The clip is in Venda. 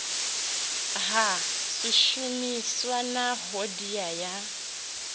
ha swishumiswa na hoddea ya